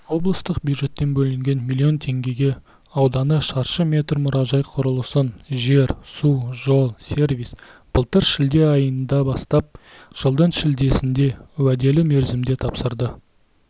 облыстық бюджеттен бөлінген млн теңгеге ауданы шаршы метр мұражай құрылысын жер-су-жол-сервис былтыр шілде айында бастап жылдың шілдесінде уәделі мерзімде тапсырды